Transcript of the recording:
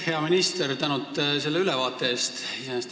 Hea minister, suur tänu selle ülevaate eest!